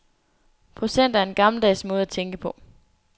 Procenter er en gammeldags måde at tænke på.